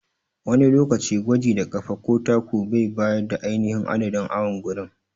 Wani lokaci gwaji da ƙafa ko taku bai bayar da ainihin adadin awon gurin.